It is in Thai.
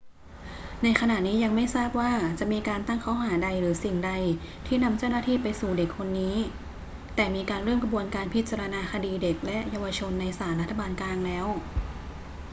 ในขณะนี้ยังไม่ทราบว่าจะมีการตั้งข้อหาใดหรือสิ่งใดที่นำเจ้าหน้าที่ไปสู่เด็กคนนี้ แต่มีการเริ่มกระบวนการพิจารณาคดีเด็กและเยาวชนในศาลรัฐบาลกลางแล้ว